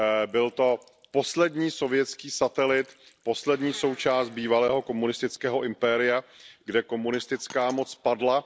Byl to poslední sovětský satelit, poslední součást bývalého komunistického impéria, kde komunistická moc padla.